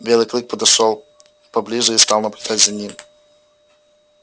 белый клык подошёл поближе и стал наблюдать за ним